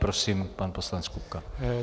Prosím, pan poslanec Kupka.